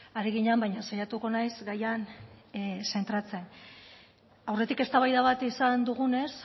ari ginen baina saiatuko naiz gaian zentratzen aurretik eztabaida bat izan dugunez